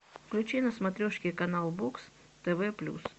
включи на смотрешке канал бокс тв плюс